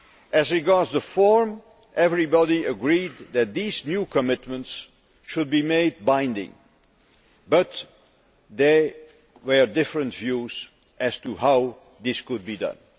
As regards the form, everybody agreed that these new commitments should be made binding, but there were different views as to how this could be done.